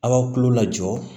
Aw tulo la jɔ